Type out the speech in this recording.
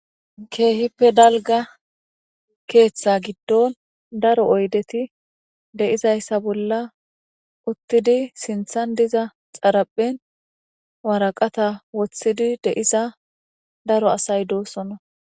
keehippe dalga keeththa giddon daro oydeti deizayssa bolla uttidi sinthan diza xaraphen waraqata woththidi deiza daro asay doosonna